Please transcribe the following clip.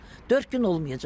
Dörd gün olmayacaq.